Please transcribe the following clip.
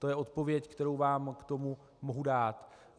To je odpověď, kterou vám k tomu mohu dát.